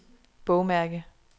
bogmærke